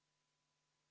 V a h e a e g